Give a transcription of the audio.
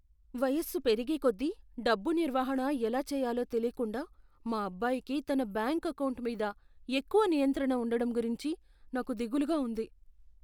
వయస్సు పెరిగేకొద్దీ డబ్బు నిర్వహణ ఎలా చెయ్యాలో తెలీకుండా మా అబ్బాయికి తన బ్యాంకు ఎకౌంటు మీద ఎక్కువ నియంత్రణ ఉండటం గురించి నాకు దిగులుగా ఉంది.